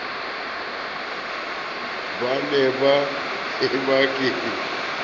ba ha e be ke